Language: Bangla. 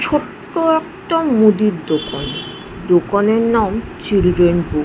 ছোট্ট একটা মুদির দোকান দোকানের নাম চিল্ড্রেন বু--